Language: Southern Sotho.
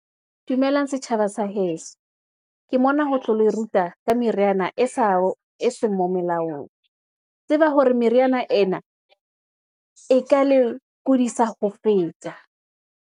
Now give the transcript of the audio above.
Dumelang setjhaba sa heso. Ke mona ho tlo le ruta ka meriana e seng melaong. Tseba hore meriana ena, e ka le kudisa ho feta.